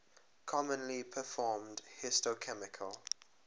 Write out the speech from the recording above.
commonly performed histochemical